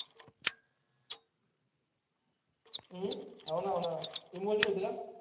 हम्म हो ना हो ना ईमोजी होती का?